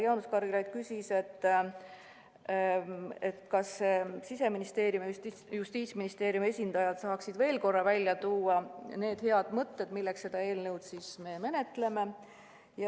Jaanus Karilaid küsis, kas Siseministeeriumi ja Justiitsministeeriumi esindajad saaksid veel korra välja tuua need head mõtted, milleks me seda eelnõu menetleme.